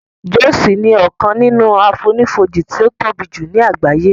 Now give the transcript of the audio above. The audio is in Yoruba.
Jọ́òsì ni ọkàn nínú àfonífojì tí ó tóbi jù ní àgbáyé